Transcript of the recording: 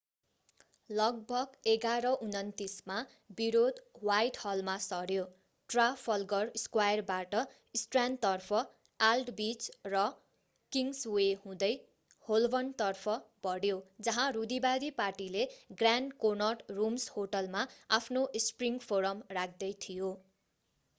लगभग 11:29 मा विरोध ह्वाइटहलमा सर्‍यो ट्राफल्गर स्क्वायरबाट स्ट्र्यान्डतर्फ आल्डविच र किङ्सवे हुँदै होल्बर्नतर्फ बढ्यो जहाँ रूढिवादी पार्टीले ग्रान्ड कोनट रूम्स होटलमा आफ्नो स्प्रिङ फोरम राख्दै थियो।